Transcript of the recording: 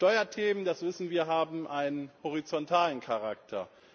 Steuerthemen, das wissen wir, haben einen horizontalen Charakter.